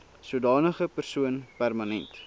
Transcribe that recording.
sodanige persoon permanent